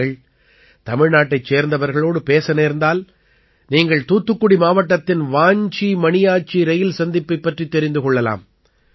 நீங்கள் தமிழ்நாட்டைச் சேர்ந்தவர்களோடு பேச நேர்ந்தால் நீங்கள் தூத்துக்குடி மாவட்டத்தின் வாஞ்சி மணியாச்சி ரயில் சந்திப்புப் பற்றித் தெரிந்து கொள்ளலாம்